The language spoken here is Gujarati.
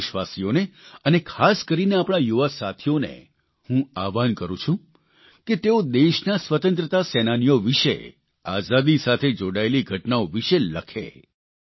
તમામ દેશવાસીઓને અને ખાસ કરીને આપણા યુવા સાથીઓને હું આહવાન કરૂં છું કે તેઓ દેશના સ્વતંત્રતા સેનાનીઓ વિષે આઝાદી સાથે જોડાયેલી ઘટનાઓ વિષે લખે